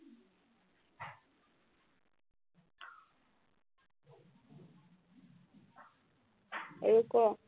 আৰু ক